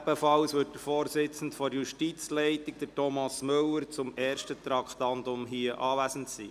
Der Vorsitzende der Justizleitung, Thomas Müller, wird beim ersten Traktandum ebenfalls anwesend sein.